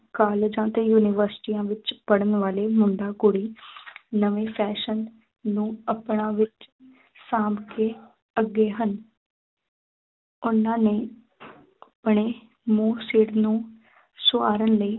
ਕਾਲਜਾਂ ਅਤੇ ਯੂਨੀਵਰਸਿਟੀਆਂ ਵਿੱਚ ਪੜ੍ਹਨ ਵਾਲੇ ਮੁੰਡਾ ਕੁੜੀ ਨਵੇਂ fashion ਨੂੰ ਆਪਨਾ ਵਿੱਚ ਸਾਂਭ ਕੇ ਅੱਗੇ ਹਨ ਉਹਨਾ ਨੇ ਆਪਣੇ ਮੂੰਹ ਸਿਰ ਨੂੰ ਸਵਾਰਣ ਲਈ